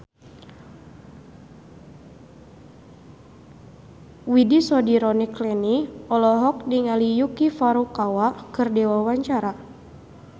Widy Soediro Nichlany olohok ningali Yuki Furukawa keur diwawancara